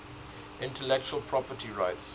intellectual property rights